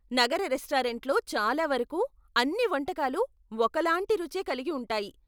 నగర రెస్టారెంట్లలో చాలా వరకు, అన్ని వంటకాలు ఒకలాంటి రుచే కలిగి ఉంటాయి.